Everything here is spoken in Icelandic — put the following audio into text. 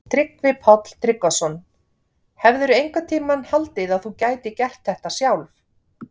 Tryggvi Páll Tryggvason: Hefðirðu einhvern tímann haldið að þú gætir gert þetta sjálf?